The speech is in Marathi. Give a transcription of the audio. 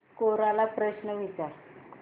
कोरा ला प्रश्न विचार